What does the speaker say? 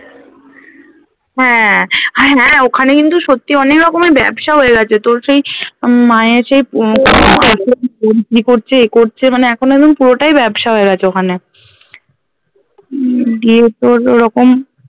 হ্যাঁ আর হ্যাঁ ওখানে কিন্ত সত্যি অনেকরকমের ব্যবসা হয়ে গেছে তোর সেই উম মায়ের সেই বিক্রি করছে এ করছে মানে এখন একদম পুরোটাই ব্যবসা হয়ে গেছে ওখানে উম দিয়ে তোর ওরকম